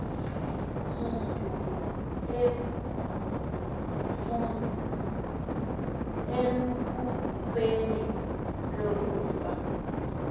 mutu elukhukweni lokufa